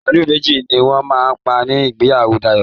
Màálù méjì ni wọ́n máa pa ni ìgbéyàwó Dayọ̀